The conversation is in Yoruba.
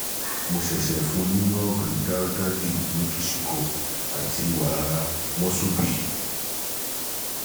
mo ṣẹ̀ṣẹ̀ fún un un ní àti wàrà